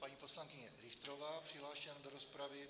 Paní poslankyně Richterová, přihlášena do rozpravy.